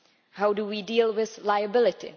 How do we deal with liability?